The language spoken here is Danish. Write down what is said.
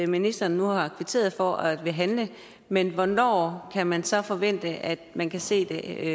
ministeren nu har kvitteret for at ville handle men hvornår kan man så forvente at man kan se det